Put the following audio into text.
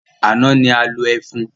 Àná ni a lo ẹfun.